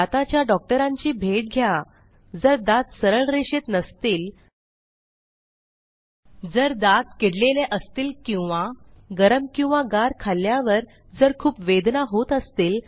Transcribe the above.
दाताच्या डॉक्टरांची भेट घ्या जर दात सरळ रेषेत नसतील जर दात किडलेले असतील किंवा गरम किंवा गार खाल्ल्यावर जर खूप वेदना होत असतील